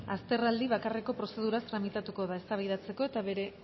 azterraldi bakarreko prozeduraz tramitatuko da eztabaidatzeko eta bere